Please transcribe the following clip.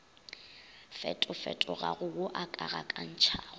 fetofetogago wo o ka gakantšhago